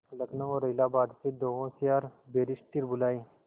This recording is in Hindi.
लखनऊ और इलाहाबाद से दो होशियार बैरिस्टिर बुलाये